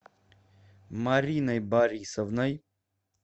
мариной борисовной